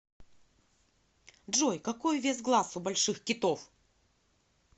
джой какой вес глаз у больших китов